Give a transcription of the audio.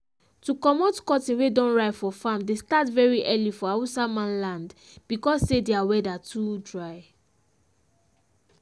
to comot cotton wey don ripe for farm dey start very early for hausa man land because say their weather too dry